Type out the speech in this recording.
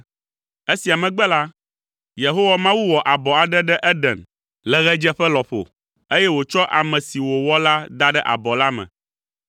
Esia megbe la, Yehowa Mawu wɔ abɔ aɖe ɖe Eden le ɣedzeƒe lɔƒo, eye wòtsɔ ame si wòwɔ la da ɖe abɔ la me.